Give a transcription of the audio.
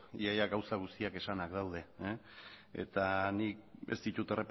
ia ia gauza guztiak esanak daude eta nik ez ditut